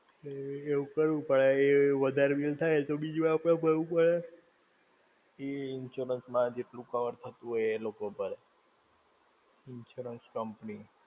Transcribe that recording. તો એવું કરવું પડે, એ વધારે bill થાય એ તો બીજું અપને ભરવું પડે, એ insurance માં જેટલું cover થતું હોય એ એ લોકો ભરે. Insurance company.